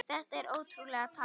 Þetta er ótrúleg tala.